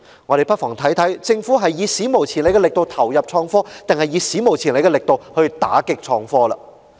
我們不妨看看，究竟政府是以"史無前例的力度投入創科"，還是以"史無前例的力度打擊創科"。